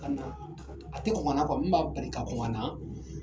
Ka na, a tɛ kɔn ka na , min b'a bali ka kɔn ka na,